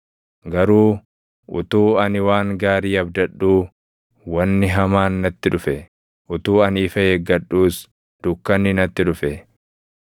Garuu utuu ani waan gaarii abdadhuu, wanni hamaan natti dhufe; utuu ani ifa eeggadhuus, dukkanni natti dhufe.